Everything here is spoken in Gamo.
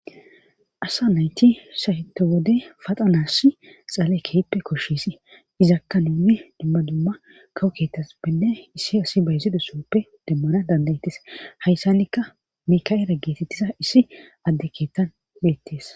Asa nayti sayto wode fatanas dhale ke'ippe koshshisi izakka nun dimma dumma kawo ketas benne issi asi bayziza sooppe demmana dandayettes hayssannikka mikael geetettisa issi adde keettan beettees